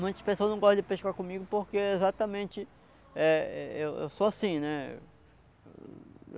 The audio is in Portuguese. Muitas pessoas não gostam de pescar comigo porque exatamente eh e-eu eu sou assim, né?